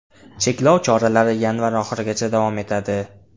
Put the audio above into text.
Cheklov choralari yanvar oxirigacha davom etadi.